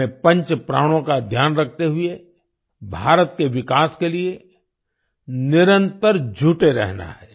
हमें पंच प्राणों का ध्यान रखते हुए भारत के विकास के लिए निरंतर जुटे रहना है